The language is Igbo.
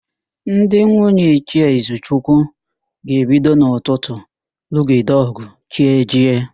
Ndị nwunye Ichie Izuchukwu ga-ebido n'ụtụtụ lụgide ọ̀gụ̀ chi ejie.